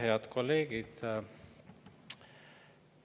Head kolleegid!